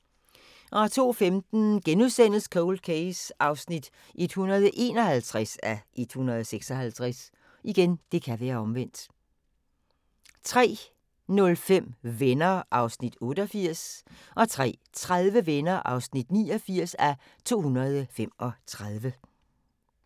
02:15: Cold Case (151:156)* 03:05: Venner (88:235) 03:30: Venner (89:235)